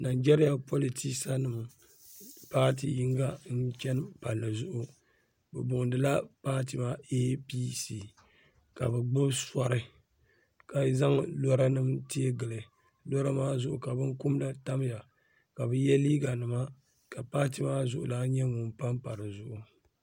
najariya politɛsanim patɛ yiniŋa n chɛini pali zʋɣ' bɛ boinila patɛ maa I bi si ka be gbabi sori ka zaŋ lora nim tɛgili lora maa zuɣ' ka bɛnikumna tamiya kabutɛ yɛ liga nima patɛ maa zuɣ' lana n papa di zuɣ'